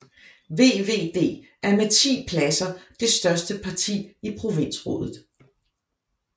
VVD er med 10 pladser det største parti i provinsrådet